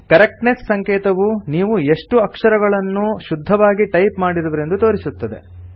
correctness ಸಂಕೇತವು ನೀವು ಎಷ್ಟು ಅಕ್ಷರಗಳನ್ನು ಶುದ್ಧವಾಗಿ ಟೈಪ್ ಮಾಡಿರುವಿರೆಂದು ತೋರಿಸುತ್ತದೆ